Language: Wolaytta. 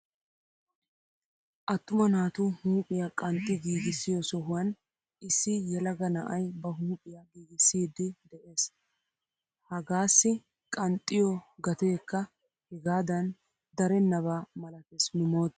Attuma naatu huuphphiyaa qanxxi giigissiyoo sohuwaan issi yelaga na'ay ba huuphphiyaa giigissiidi de'ees. hagaassi qanxxiyoo gateekka hegaadan darennaba malatees nu moottan.